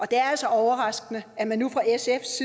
det er altså overraskende at man nu fra sfs